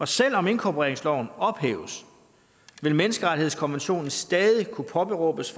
selv om inkorporeringsloven ophæves vil menneskerettighedskonventionen stadig kunne påberåbes